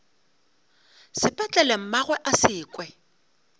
sepetlele mmagwe a se kwe